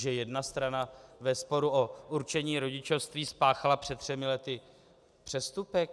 Že jedna strana ve sporu o určení rodičovství spáchala před třemi lety přestupek?